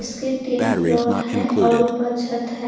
इसके तीन फ्लोर है और ऊपर छत हैं।